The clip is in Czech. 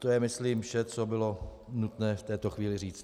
To je, myslím, vše, co bylo nutné v této chvíli říci.